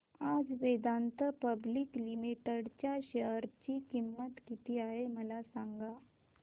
आज Vedanta public limited च्या share ची किंमत किती आहे मला सांगा